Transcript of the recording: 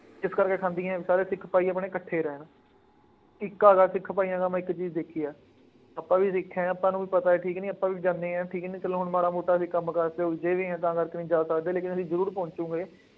ਇਸ ਕਰਕੇ ਖਾਂਦੀਆਂ ਸਾਰੇ ਸਿੱਖ ਭਾਈ ਆਪਣੇ ਇਕੱਠੇ ਰਹਿਣ, ਏਕਾਂ ਵਾਂ ਸਿੱਖ ਭਾਈਆਂ ਦਾ, ਮੈਂ ਇੱਕ ਚੀਜ਼ ਦੇਖੀ ਹੈ। ਆਪਾਂ ਵੀ ਦੇਖਿਆਂ ਹੈ, ਪਰ ਊਂ ਪਤਾ ਹੈ ਠੀਕ ਕਿ ਨਹੀਂ ਆਪਾਂ ਵੀ ਜਾਂਦੇ ਹਾਂ, ਠੀਕ ਕਿ ਨਹੀਂ, ਚੱਲੋ ਹੁਣ ਮਾੜਾ ਮੋਟਾਂ ਅਸੀਂ ਕੰਮ ਕਾਜ ਚ ਉਲਝੇ ਹੋਏ ਹਾਂ, ਤਾਂ ਕਰਕੇ ਨਹੀਂ ਜਾ ਸਕਦੇ ਲੇਕਿਨ ਅਸੀਂ ਜ਼ਰੂਰ ਪਹੁੰਚੂਗੇ।